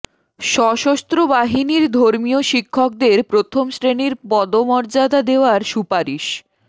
সশস্ত্র বাহিনীর ধর্মীয় শিক্ষকদের প্রথম শ্রেণির পদমর্যাদা দেওয়ার সুপারিশ